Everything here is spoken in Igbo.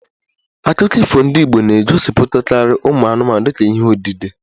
Akụkọ ifo ndị Igbo na-egosipụtakarị ụmụ anụmanụ dịka ihe odide